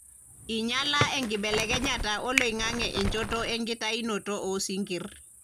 enyiala enkibelekenyata oloingange enchoto ekitainoto osinkir